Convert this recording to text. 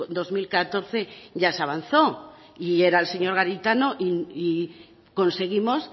dos mil catorce ya se avanzó y era el señor garitano y conseguimos